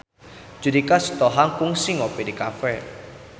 Judika Sitohang kungsi ngopi di cafe